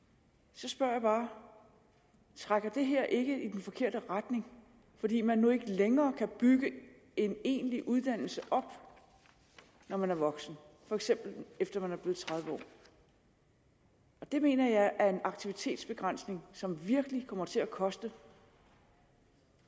så spørger jeg bare trækker det her ikke i den forkerte retning fordi man nu ikke længere kan bygge en egentlig uddannelse op når man er voksen for eksempel efter man er blevet tredive år det mener jeg er en aktivitetsbegrænsning som virkelig kommer til at koste